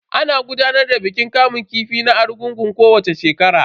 Ana gudanar da bikin kamun kifi na argungun kowacce shekara.